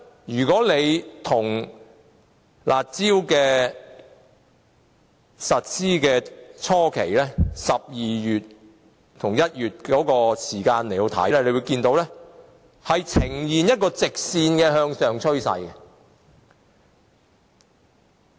如果與推出這項"加辣"措施初期的12月和1月比較，可以看到樓價呈現直線向上的趨勢。